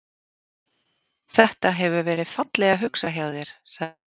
Þetta. hefur verið fallega hugsað hjá þér sagði